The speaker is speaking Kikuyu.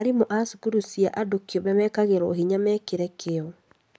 Arimũ a cukuru cia andũ kĩũmbe mekagĩriĩrwo hinya mekĩre kĩo